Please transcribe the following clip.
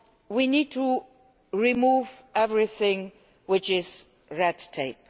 We need to remove everything which is red tape.